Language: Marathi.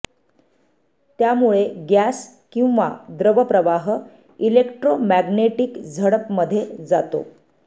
त्यामुळे गॅस किंवा द्रव प्रवाह इलेक्ट्रोमॅग्नेटिक झडप मध्ये जातो